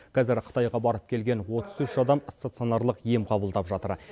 қазір қытайға барып келген отыз үш адам стационарлық ем қабылдап жатыр